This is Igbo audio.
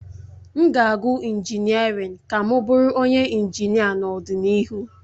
M ga-agụ injiniarin ka m bụrụ onye injinia n'ọdịnihu